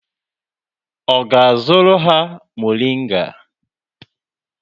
Ọ ga-azụrụ ha moringa?